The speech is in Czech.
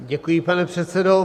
Děkuji, pane předsedo.